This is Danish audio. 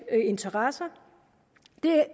interesser det